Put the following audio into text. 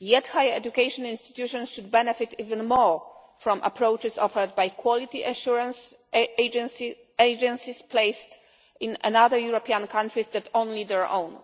yet high education institutions should benefit even more from approaches offered by quality assurance agencies placed in other European countries, not only their own.